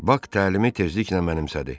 Bak təlimi tezliklə mənimsədi.